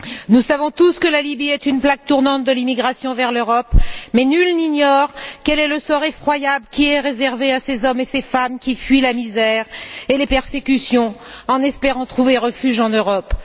Nous savons tous que la Libye est une plaque tournante de l'immigration vers l'Europe, mais nul n'ignore quel sort effroyable est réservé à ces hommes et ces femmes qui fuient la misère et les persécutions en espérant trouver refuge en Europe.